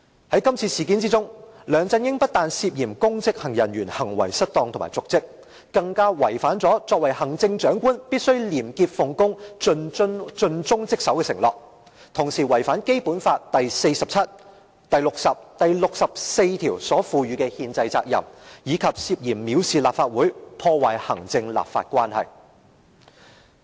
在今次事件中，梁振英非但涉嫌公職人員行為失當和瀆職，更違反了行政長官必須廉潔奉公、盡忠職守的承諾，同時亦違反《基本法》第四十七條、第六十條及第六十四條所賦予的憲制責任，以及涉嫌藐視立法會，破壞行政立法關係。